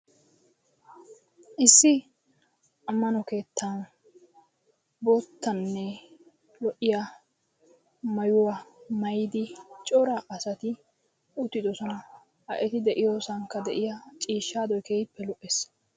Issi ammano keettaa boottanne lo'iya maayuwa maayidi cora asati uttidosona. Ha eti de'iyosankka de'iya ciishshaadoyi keehippe lo'es.